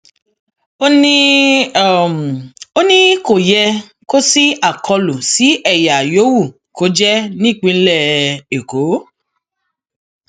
ó ní ó ní kò um yẹ kó ṣí àkọlù sí ẹyà yòówù kó jẹ nípínlẹ um èkó